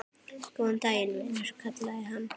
Góðan daginn, vinur kallaði hann.